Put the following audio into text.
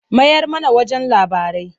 Mayar mana wajen labarai.